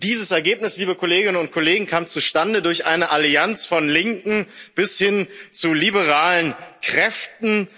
Und dieses Ergebnis, liebe Kolleginnen und Kollegen, kam zustande durch eine Allianz von linken bis hin zu liberalen Kräften.